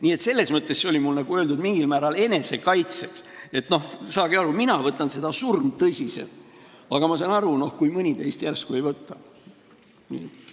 Nii et selles mõttes oli see mul öeldud mingil määral enesekaitseks, et saage aru, mina võtan seda surmtõsiselt, aga ma saan aru, kui mõni teist järsku ei võta.